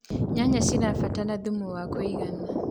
nyanya irabatara thumu wa kũigana